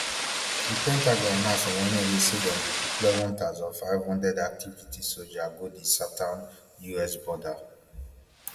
di pentagon announce on wednesday say dem go deploy one thousand, five hundred active duty soja go di southern us border